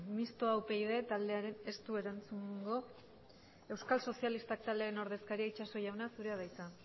mistoa upyd taldeak du erantzungo euskal sozialistak taldearen ordezkaria itxaso jauna zurea da hitza